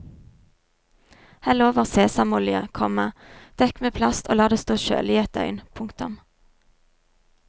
Hell over sesamolje, komma dekk med plast og la det stå kjølig i ett døgn. punktum